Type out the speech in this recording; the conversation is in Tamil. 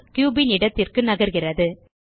கியூப் ன் இடத்திற்கு நகர்கிறது